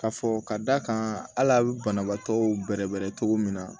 Ka fɔ ka d'a kan hali a bɛ banabaatɔ bɛrɛ bɛrɛ cogo min na